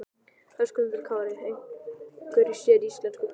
Höskuldur Kári: Einhverju séríslensku?